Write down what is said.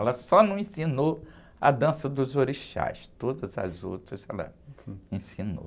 Ela só não ensinou a dança dos orixás, todas as outras ela ensinou.